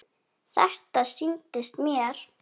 Þetta sýndist mér!